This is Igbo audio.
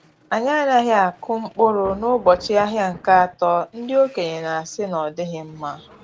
Anyị anaghị akụ mkpụrụ n’ụbọchị ahịa nke atọ ndi okenye na-asị na ọdighi mma.